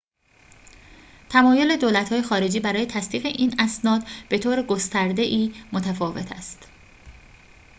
تمایل دولت‌های خارجی برای تصدیق این اسناد بطور گسترده‌ای متفاوت است